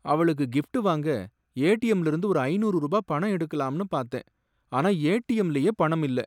அவளுக்கு கிஃப்ட் வாங்க ஏடிஎம்ல இருந்து ஒரு ஐநூறு ரூபா பணம் எடுக்கலாம்னு பார்த்தேன், ஆனா ஏடிஎம்லயே பணம் இல்ல.